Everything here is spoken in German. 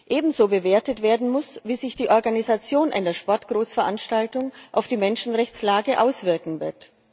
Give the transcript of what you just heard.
Ebenso bewertet werden muss, wie sich die Organisation einer Sportgroßveranstaltung auf die Menschenrechtslage auswirken wird.